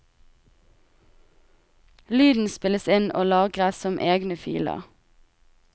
Lyden spilles inn og lagres som egne filer.